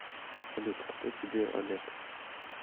салют кто тебе олег